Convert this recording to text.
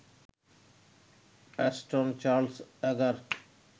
Ashton Charles Agar